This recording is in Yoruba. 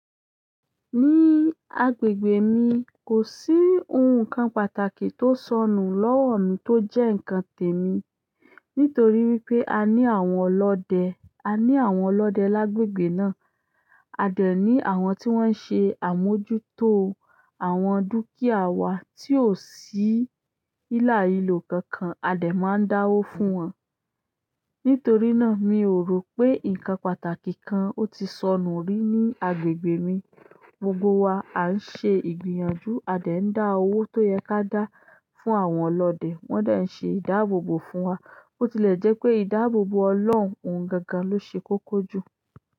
Ní agbègbè mi, kò sí ohun kan pàtàkì tó sọnù lọ́wọ́ mi tó jẹ́ ǹkan tèmi. Nítorí wípé a ní àwọn ọlọ́dẹ, a ní àwọn ọlọ́dẹ lágbègbè náà. A de ni àwọn ti won n se àmójútó àwọn dukia wa ti o si hilahilo kankan, a de maa n dawo fún won. Nítorí náà mi ò rò pé ǹkan pàtàkì kan ó ti sọnù rí ní agbègbè mi. Gbogbo wa á ń ṣe ìgbìyànjú, a dè ń dá owó tó yẹ ká dá fún àwọn ọlọ́dẹ, wón de n ṣe ìdáàbòbò fún wa. Bo tile je pe ìdáàbòbò Olorun oun gangan lo se koko ju.